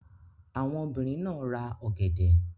Àwọn obìrin náà ra ọ̀gẹ̀dẹ̀.